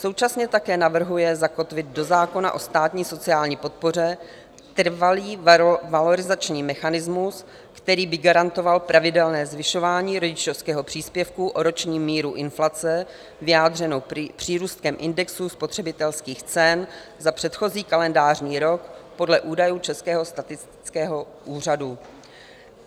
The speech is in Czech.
Současně také navrhuje zakotvit do zákona o státní sociální podpoře trvalý valorizační mechanismus, který by garantoval pravidelné zvyšování rodičovského příspěvku o roční míru inflace vyjádřenou přírůstkem indexu spotřebitelských cen za předchozí kalendářní rok podle údajů Českého statistického úřadu.